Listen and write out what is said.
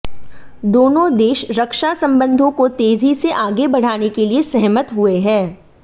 दोनों देश रक्षा संबंधों को तेजी से आगे बढ़ाने के लिए सहमत हुए हैं